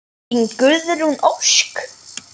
Þín, Guðrún Ósk.